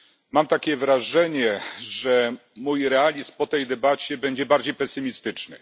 Mam takie wrażenie, że mój realizm po tej debacie będzie bardziej pesymistyczny.